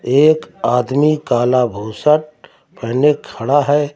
एक आदमी काला भूसट पहने खड़ा है।